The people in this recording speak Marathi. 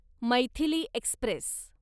मैथिली एक्स्प्रेस